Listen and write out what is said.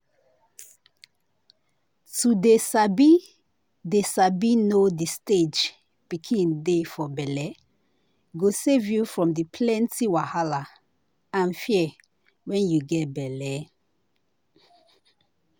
to dey sabi dey sabi know the stage pikin dey for bellego save you from plenty wahala and fear wen you get belle.